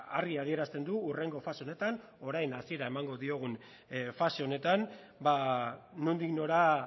argi adierazten du hurrengo fase honetan orain hasiera emango diogun fase honetan nondik nora